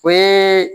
O ye